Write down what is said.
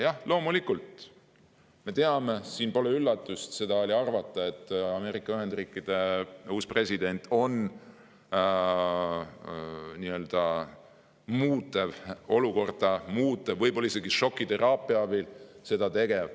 Jah, loomulikult me teame, siin pole üllatust, seda oli arvata, et Ameerika Ühendriikide uus president muudab olukorda ja teeb seda võib-olla isegi šokiteraapia abil.